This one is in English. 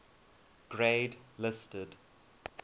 grade listed